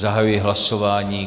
Zahajuji hlasování.